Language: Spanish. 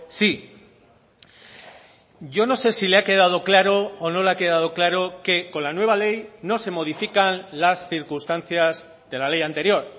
sí yo no sé si le ha quedado claro o no le ha quedado claro que con la nueva ley no se modifican las circunstancias de la ley anterior